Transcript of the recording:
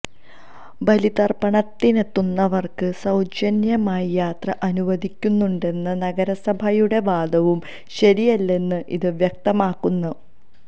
ബലിതര്പ്പണത്തിനെത്തുന്നവര്ക്ക് സൌജന്യ യാത്ര അനുവദിക്കുന്നുണ്ടെന്ന നഗരസഭയുടെ വാദവും ശരിയല്ലായെന്ന് ഇത് വ്യക്തമാക്കുന്നു